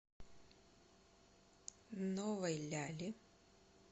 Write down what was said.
новой ляли